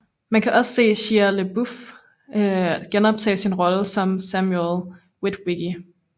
Man kan også se Shia LaBeouf genoptage sin rolle som Samuel Witwicky